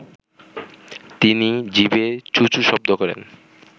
তিনি জিভে চু চু শব্দ করেন